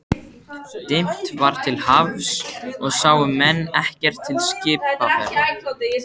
Dimmt var til hafs og sáu menn ekkert til skipaferða.